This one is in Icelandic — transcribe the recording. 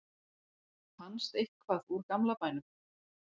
fannst eitthvað úr gamla bænum